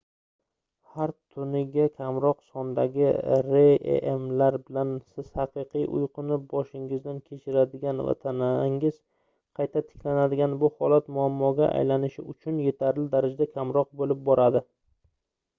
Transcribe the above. har tuniga kamroq sondagi rem lar bilan siz haqiqiy uyquni boshingizdan kechiradigan va tanangiz qayta tiklanadigan bu holat muammoga aylanish uchun yetarli darajada kamroq boʻlib boradi